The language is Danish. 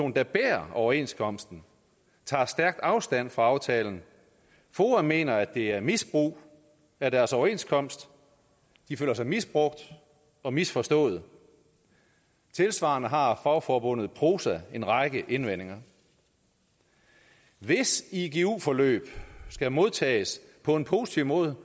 der bærer overenskomsten tager stærkt afstand fra aftalen foa mener at det er misbrug af deres overenskomst de føler sig misbrugt og misforstået tilsvarende har fagforbundet prosa en række indvendinger hvis igu forløb skal modtages på en positiv måde